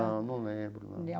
Não, não lembro não.